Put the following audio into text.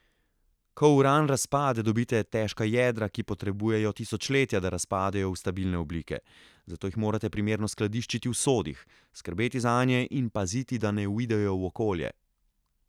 Ko uran razpade, dobite težka jedra, ki potrebujejo tisočletja, da razpadejo v stabilne oblike, zato jih morate primerno skladiščiti v sodih, skrbeti zanje in paziti, da ne uidejo v okolje.